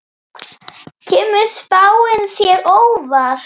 Kemur spáin þér á óvart?